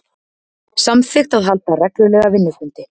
Samþykkt að halda reglulega vinnufundi